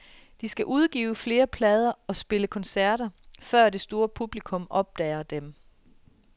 De skal udgive flere plader og spille koncerter, før det store publikum opdager dem.